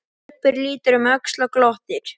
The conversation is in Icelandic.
Stubbur lítur um öxl og glottir.